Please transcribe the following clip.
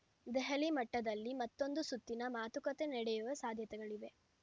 ದೆಹಲಿ ಮಟ್ಟದಲ್ಲಿ ಮತ್ತೊಂದು ಸುತ್ತಿನ ಮಾತುಕತೆ ನಡೆಯುವ ಸಾಧ್ಯತೆಗಳಿವೆ